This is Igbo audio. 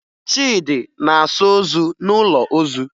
Chidi na-asa ozu n'ụlọ ozu